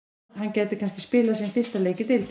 Hann gæti þar spilað sinn fyrsta leik í deildinni.